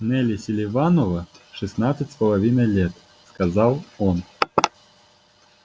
нелли селиванова шестнадцать с половиной лет сказал он